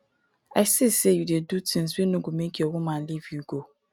i see sey you dey do tins wey no go make your woman leave you go.